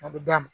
A bɛ d'a ma